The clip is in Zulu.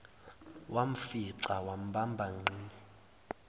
wamfica wambamba ngqi